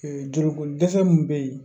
joli ko dɛsɛ min bɛ yen